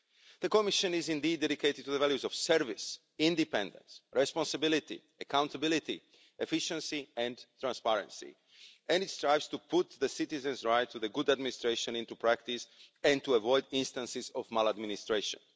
The Commission is indeed dedicated to the values of service, independence, responsibility, accountability, efficiency and transparency, and it strives to put the citizens' right to good administration into practice and to avoid instances of maladministration.